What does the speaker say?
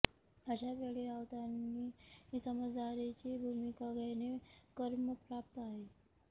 अशा वेळी राऊतांनी समजदारीची भूमिका घेणे क्रमप्राप्त आहे